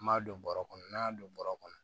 An m'a don bɔrɛ kɔnɔ n'an y'a don bɔrɛ kɔnɔ